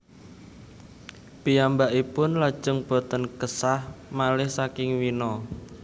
Piyambakipun lajeng boten késah malih saking Wina